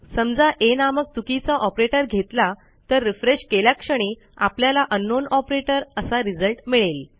समजा aनामक चुकीचा ऑपरेटर घेतला तर रिफ्रेश केल्याक्षणी आपल्याला अंकनाउन ऑपरेटर असा रिझल्ट मिळेल